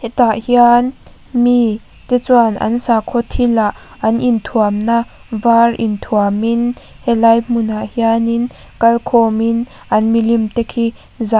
hetah hian mi te chuan an sakhaw thil ah an in thuam na var in thuam in helai hmun ah hianin kal khawm in an milim te khi zah --